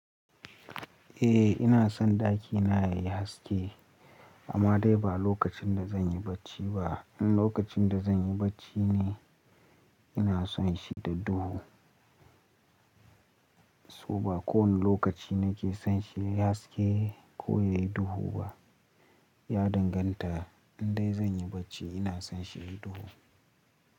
Eh ina son ɗakina yayi haske amma dai ba lokacin da zan yi bacci ba. In lokacin da zan yi bacci ne ina son shi da duhu. So ba kowane lokaci nake son shi yayi haske ko yayi duhu ba. Ya danganta in dai zan yi bacci ina son shi yayi duhu.